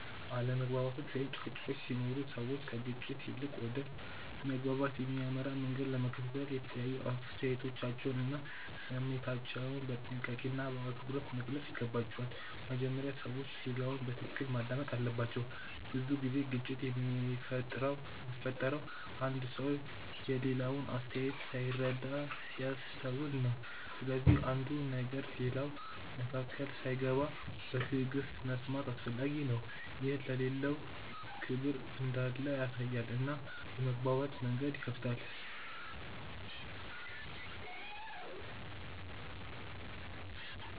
አለመግባባቶች ወይም ጭቅጭቆች ሲኖሩ ሰዎች ከግጭት ይልቅ ወደ መግባባት የሚያመራ መንገድ ለመከተል የተለያዩ አስተያየቶቻቸውን እና ስሜታቸውን በጥንቃቄና በአክብሮት መግለጽ ይገባቸዋል። በመጀመሪያ ሰዎች ሌላውን በትክክል ማዳመጥ አለባቸው። ብዙ ጊዜ ግጭት የሚፈጠረው አንዱ ሰው የሌላውን አስተያየት ሳይረዳ ሲያስተውል ነው። ስለዚህ አንዱ ሲናገር ሌላው መካከል ሳይገባ በትዕግሥት መስማት አስፈላጊ ነው። ይህ ለሌላው ክብር እንዳለ ያሳያል እና የመግባባት መንገድን ይከፍታል.